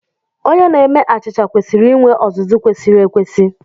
Onye na-eme achịcha kwesịrị inwe ọzụzụ kwesịrị ekwesị.